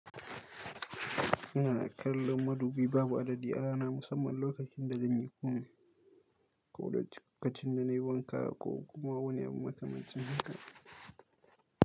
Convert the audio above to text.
Ina kallon madubi babu adadi a rana musamman lokacin da zan yi komai, ko da cikin da nayi wanka ko kuma wani abu matsin haka.